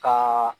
Ka